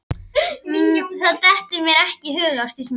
Það dettur mér ekki í hug Ásdís mín.